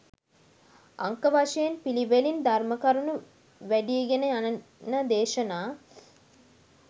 අංක වශයෙන් පිළිවෙලින් ධර්ම කරුණු වැඞීගෙන යන දේශනා